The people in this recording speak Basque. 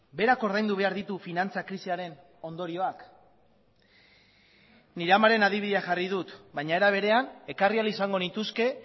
berak ordaindu behar ditu finantza krisiaren ondorioak nire amaren adibidea jarri dut baina era berean ekarri ahal izango nituzke